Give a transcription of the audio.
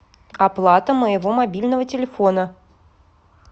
оплата моего мобильного телефона